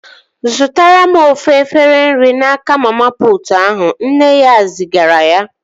Zụtara m ofu efere nri n'aka mama putu ahụ! Nne ya zigara ya